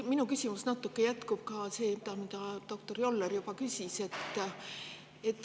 Minu küsimus jätkab seda teemat, mille kohta doktor Joller juba küsis.